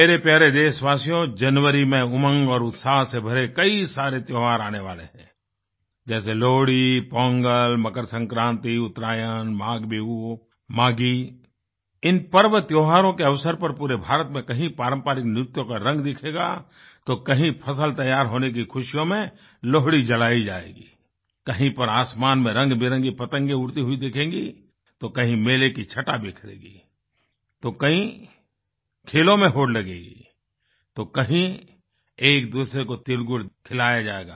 मेरे प्यारे देशवासियों जनवरी में उमंग और उत्साह से भरे कई सारे त्योहार आने वाले हैं जैसे लोहड़ी पोंगल मकर संक्रान्ति उत्तरायण माघ बिहू माघी इन पर्व त्योहारों के अवसर पर पूरे भारत में कहीं पारंपरिक नृत्यों का रंग दिखेगा तो कहीं फसल तैयार होने की खुशियों में लोहड़ी जलाई जाएगी कहीं पर आसमान में रंगबिरंगी पतंगे उड़ती हुई दिखेंगी तो कहीं मेले की छठा बिखरेगी तो कहीं खेलों में होड़ लगेगी तो कहीं एकदूसरे को तिल गुड़ खिलाया जायेगा